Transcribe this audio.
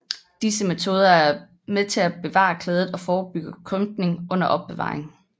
Disse metoder er med til at bevare klædet og forebygge krympning under opbevaringen